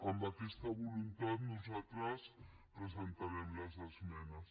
amb aquesta voluntat nosaltres presentarem les esmenes